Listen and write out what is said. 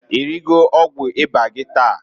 I rigo ọgwụ ịba gi taa?